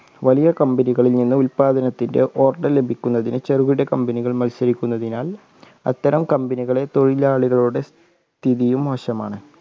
വലിയ കമ്പനികളിൽ നിന്ന് ഉൽപാദനത്തിന്റെ ഹോട്ടൽ ലഭിക്കുന്നതിന് ചെറുകിട കമ്പനികൾ മത്സരിക്കുന്നതിനാൽ അത്തരം കമ്പനികളെ തൊഴിലാളികളുടെ സ്ഥിതിയും മോശമാണ്.